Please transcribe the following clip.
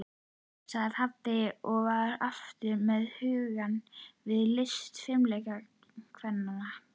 sagði pabbi og var aftur með hugann við listir fimleikakvennanna.